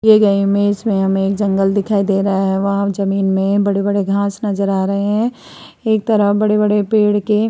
दिए गए इमेज में हमें एक जंगल दिखाई दे रहा है। वहाँ जमीन में बड़े-बड़े घास नजर आ रहे हैं। एक तरफ बड़े-बड़े पेड़ के --